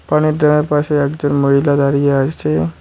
পানির ড্রামের পাশে একজন মহিলা দাঁড়িয়ে আছে।